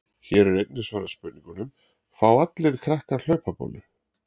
Hér er einnig svarað spurningunum: Fá allir krakkar hlaupabólu?